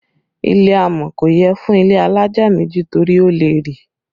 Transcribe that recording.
Ilẹ̀ amọ̀ kò yẹ fún ilé alájà méjì torí ó lè rì